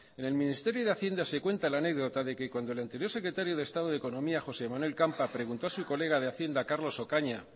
en el ministerio de hacienda se cuenta la anécdota de que cuando el anterior secretario de estado de economía josé manuel campa preguntó a su colega de hacienda carlos ocaña